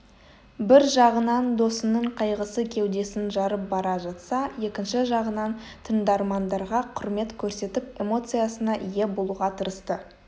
бір жағынан досының қайғысы кеудесін жарып бара жатса екінші жағынан тыңдармандарға құрмет көрсетіп эмоциясына ие болуға тырысты